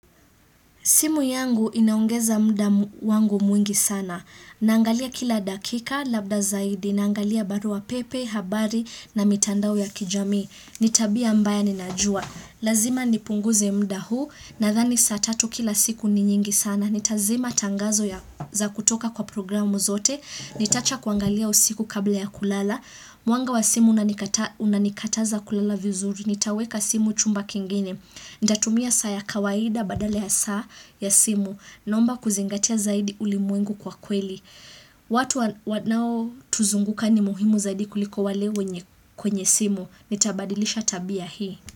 Simu yangu inaongeza mda wangu mwingi sana. Naangalia kila dakika, labda zaidi, naangalia baruapepe, habari na mitandao ya kijamii. Ni tabia mbaya ninajua. Lazima nipunguze mda huu, nadhani saa tatu kila siku ni nyingi sana. Nitazima tangazo za kutoka kwa programu zote. Nitawacha kuangalia usiku kabla ya kulala. Mwanga wa simu unanikataza kulala vizuri. Nitaweka simu chumba kingine. Nitatumia saa ya kawaida badale ya saa ya simu naomba kuzingatia zaidi ulimwengu kwa kweli. Watu wanaotuzunguka ni muhimu zaidi kuliko wale kwenye simu. Nitabadilisha tabia hii.